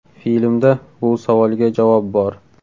Filmda bu savolga javob bor.